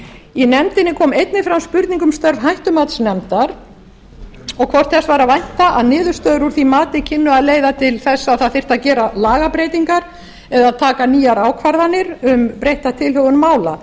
í nefndinni kom einnig fram spurning um störf hættumatsnefndar og hvort þess væri að vænta að niðurstöður úr því mati kynnu að leiða til þess að það þyrfti að gera lagabreytingar eða taka nýjar ákvarðanir um breytta tilhögun mála